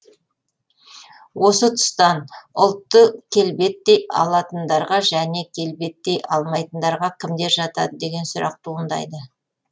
осы тұстан ұлтты келбеттей алатындарға және келбеттей алмайтындарға кімдер жатады деген сұрақ туындайды